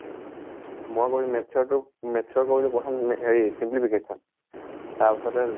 মই কৰিলোঁ maths ৰ তোৰ maths ৰ কৰিলোঁ প্ৰথম এ হেৰি simplification তাৰ পাছতে